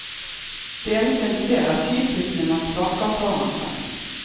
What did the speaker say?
Det eneste en ser, er skituppene man sparker foran seg.